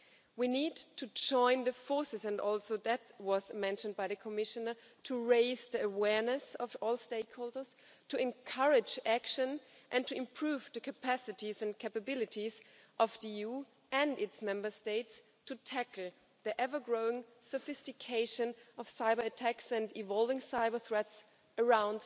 We need to join forces and also that was mentioned by the Commissioner to raise the awareness of all stakeholders, to encourage action, and to improve the capacities and capabilities of the EU and its Member States to tackle the ever-growing sophistication of cyber-attacks and evolving cyber-threats around